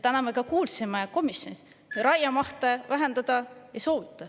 Täna me ka kuulsime komisjonis, et raiemahte vähendada ei soovita.